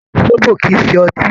Sóbò̀ kì í ṣe ọtí.